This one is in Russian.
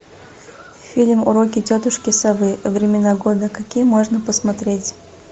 фильм уроки тетушки совы времена года какие можно посмотреть